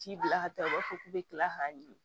T'i bila ka taa u b'a fɔ k'u bɛ kila k'a ɲimi